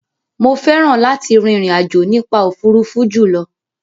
Mo fẹ́ràn láti rin ìrìn àjò nípa òfuurufú jùlọ.